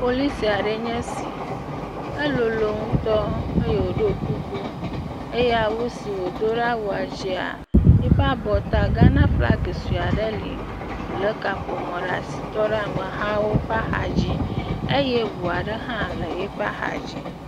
Polisi ɖee nye esi. Elolo ŋutɔ eye woɖo kuku eye awu si wodo ɖe awua dzia yiƒe abɔta Ghanaflaga sue aɖe li. Wole kaƒomɔ ɖe asi tɔ ɖe amehawo ƒe axa dzi eye ŋu aɖe hã le yiƒe axa dzi.